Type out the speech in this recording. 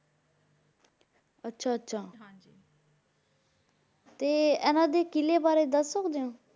ਆਚਾ ਆਚਾ ਹਾਂਜੀ ਤੇ ਏਨਾ ਦੇ ਕਿਲੇ ਬਾਰੇ ਦਸੋ ਗੇ